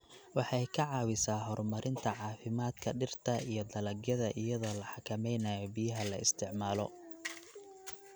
Waxay ka caawisaa horumarinta caafimaadka dhirta iyo dalagyada iyadoo la xakameynayo biyaha la isticmaalo.